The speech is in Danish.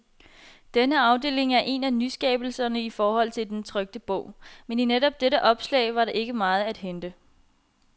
Denne afdeling er en af nyskabelserne i forhold til den trykte bog, men i netop dette opslag, var der ikke meget at hente.